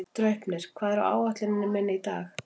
Draupnir, hvað er á áætluninni minni í dag?